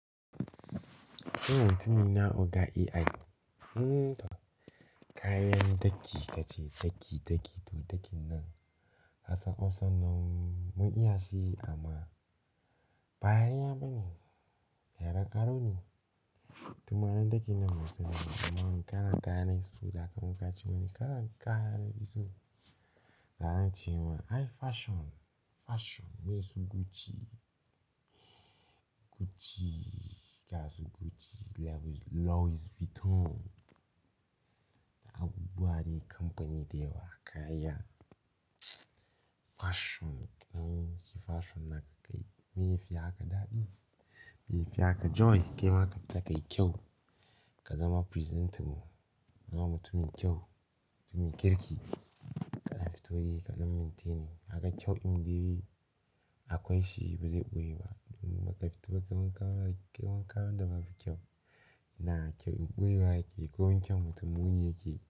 Eh, mutumina oga AI, Nn, to kayan daki ka ce, daki, daki, to dakin nan. Kasan Hausan nan mun iya shi amma, ba yare na baneba, yaren aro ne. Tunanin dakin nan ban saniba, amma in karanta ne, saboda haka in kace wani kalan kaya nafiso? Za a ce wai, "Ai fashion, fashion. Meye su Gucci? Gucci, ga su Gucci, Louis Vuitton." Abubuwa dai, kamfani da yawa, kaya Fashion, ka ɗan sai fashion naka kayi, meye yafi haka daɗi? Meye yafi haka joy? Kaima kafita kayi kyau, ka zama presentable, zama mutumin kyau, mutumin kirki. Kana fito eh, ka ɗan maintaining, kaga kyau indai akwai shi bazai ɓoye ba. Domin baka fito kai wanka ba, kai wanka wanda babu kyau, inaa kyau in ɓoyewa yakeyi, komin kyan mutum muni yakeyi,